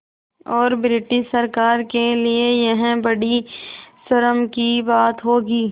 और ब्रिटिश सरकार के लिये यह बड़ी शर्म की बात होगी